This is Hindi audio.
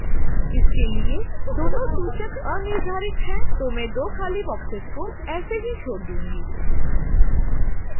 इसके लिए दोनों सूचक अनिर्धारित हैं तो मैं दो खाली boxes को ऐसे ही छोड दूंगी